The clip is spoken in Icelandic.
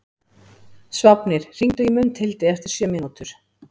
Sváfnir, hringdu í Mundhildi eftir sjö mínútur.